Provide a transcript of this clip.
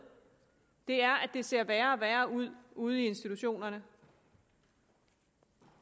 det er at det ser værre og værre ud ude i institutionerne